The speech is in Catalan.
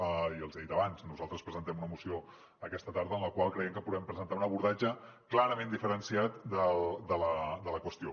ja els hi he dit abans nosaltres presentem una moció aquesta tarda en la qual creiem que podrem presentar un abordatge clarament diferenciat de la qüestió